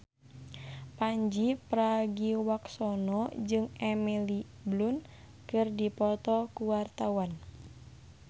Pandji Pragiwaksono jeung Emily Blunt keur dipoto ku wartawan